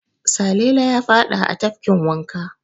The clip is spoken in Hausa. Salele ya faɗa a tafkin wanka.